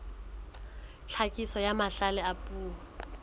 tlhakiso ya mahlale a puo